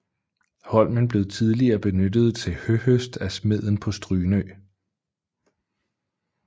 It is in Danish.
Holmen blev tidligere benyttet til høhøst af smeden på Strynø